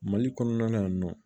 Mali kɔnɔna na yan nɔ